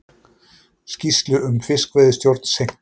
Skýrslu um fiskveiðistjórn seinkar